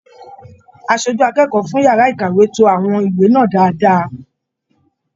Aṣojú akẹ́kọ̀ọ́ fún yàrá ìkàwé to àwọn ìwé náà dáadáa.